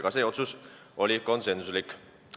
Kõik otsused olid konsensuslikud.